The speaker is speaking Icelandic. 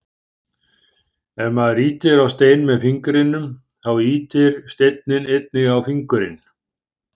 Ef maður ýtir á stein með fingrinum, þá ýtir steinninn einnig á fingurinn.